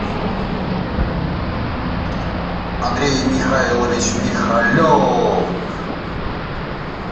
андрей михайлович михалев